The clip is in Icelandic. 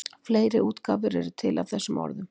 Fleiri útgáfur eru til af þessum orðum.